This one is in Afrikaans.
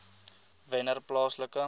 wennerplaaslike